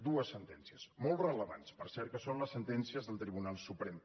dues sentències molt rellevants per cert que són les sentències del tribunal suprem